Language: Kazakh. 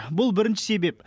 бұл бірінші себеп